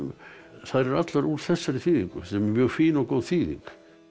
þær eru allar úr þessari þýðingu sem er mjög fín og góð þýðing